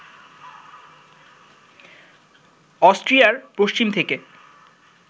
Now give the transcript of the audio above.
অস্ট্রিয়ার পশ্চিম থেকে